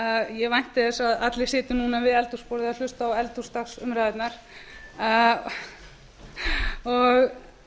ég vænti þess að allir sitji núna við eldhúsborðið að hlusta á eldhúsdagsumræðurnar og